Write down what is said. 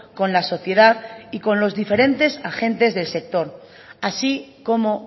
con la sociedad y con los diferentes agentes del sector así como